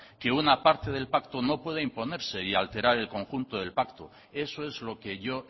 que una parte del pacto no puede imponerse y alterar el conjunto del pacto eso es lo que yo